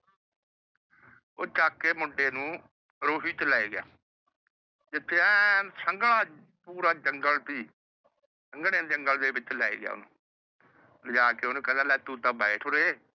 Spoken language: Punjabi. ਉਹ ਚੱਕ ਕੇ ਮੁੰਡੇ ਨੂੰ ਰੂਹੀ ਤੇ ਲੈ ਗਿਆ ਜਿੱਥੇ ਐਨ ਸੰਘਣਾ ਪੂਰਾ ਜੰਗ਼ਲ ਸੀ। ਸੰਘਣੇ ਜੰਗ਼ਲ ਦੇ ਵਿੱਚ ਲੈ ਗਿਆ ਓਹਨੂੰ। ਲਿਜਾ ਕੇ ਓਹਨੂੰ ਕਹਿੰਦਾ ਲੈ ਤੂੰ ਤਾਂ ਬੈਠ ਓਰੇ।